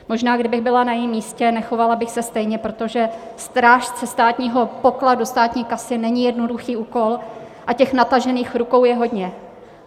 Možná, kdybych byla na jejím místě, nechovala bych se stejně, protože strážce státního pokladu, státní kasy, není jednoduchý úkol a těch natažených rukou je hodně.